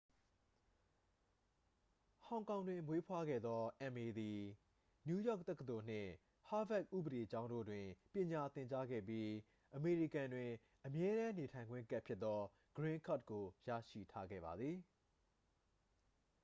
"ဟောင်ကောင်တွင်မွေးဖွားခဲ့သော အမ်အေ သည် နယူးယောက်တက္ကသိုလ်နှင့် ဟားဗက်ဥပဒေကျောင်းတို့တွင် ပညာသင်ကြားခဲ့ပြီး၊ အမေရိကန်တွင် အမြဲတမ်းနေထိုင်ခွင့်ကဒ်ဖြစ်သော "ဂရင်းကဒ်" ကို ရရှိထားခဲ့ပါသည်။